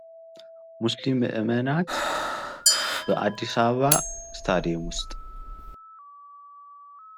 ሙስሊም ምዕመናን በአዲስአበባ እስታዲየም ውስጥ